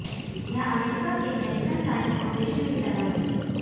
यह अमेरिका के National Science Foundation की तरह है